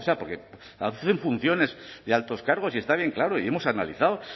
porque hacen funciones de altos cargos y está bien claro y hemos analizado